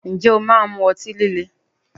Ǹjẹ́ o máa ń mú ọtí líle?